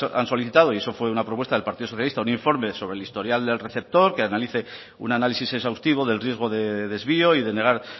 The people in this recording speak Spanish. han solicitado y eso fue una propuesta del partido socialista un informe sobre el historial del receptor que analice un análisis exhaustivo del riesgo de desvío y de negar